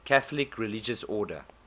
catholic religious order